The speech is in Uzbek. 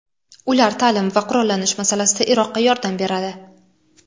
Ular ta’lim va qurollanish masalasida Iroqqa yordam beradi.